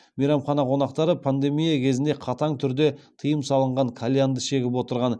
мейрамхана қонақтары пандемия кезіне қатаң түрде тыйым салынған кальянды шегіп отырған